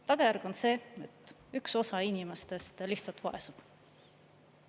Tagajärg on see, et üks osa inimestest lihtsalt vaesub.